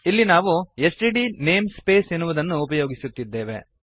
ಇಲ್ಲಿ ನಾವು STD namespace ಎನ್ನುವುದನ್ನು ಉಪಯೋಗಿಸುತ್ತಿದ್ದೇವೆ